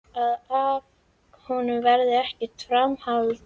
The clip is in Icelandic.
Að af honum verði ekkert framhald.